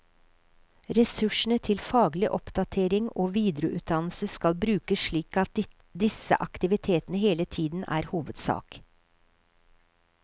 Ressursene til faglig oppdatering og videreutdannelse skal brukes slik at disse aktivitetene hele tiden er hovedsak.